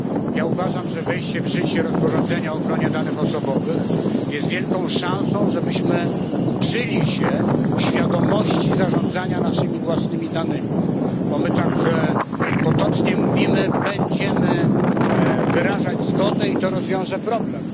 Ja uważam, że wejście w życie rozporządzenia o ochronie danych osobowych jest wielką szansą, żebyśmy uczyli się świadomości zarządzania naszymi własnymi danymi, bo my tak potocznie mówimy będziemy wyrażać zgodę i to rozwiąże problem.